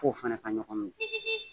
F'o fɛnɛ ka ɲɔgɔn minɛ .